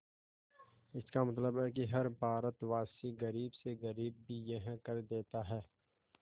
इसका मतलब है कि हर भारतवासी गरीब से गरीब भी यह कर देता है